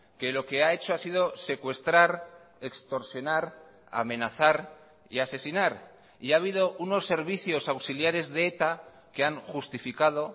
que lo que ha hecho ha sido secuestrar extorsionar amenazar y asesinar y ha habido unos servicios auxiliares de eta que han justificado